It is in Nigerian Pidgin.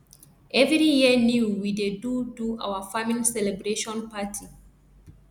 every year new we dey do do our farming celebration party